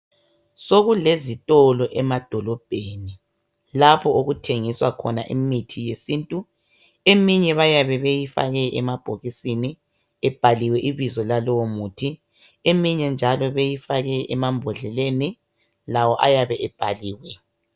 Sokulezitolo emadolobheni lapho okuthengiswa khona imithi yesintu eminye bayabe beyifake emabhokisini ibhaliwe ibizo lalowo muthi iminye njalo bayabe beyifake emambodleleni lawo ayabe ebhaliwe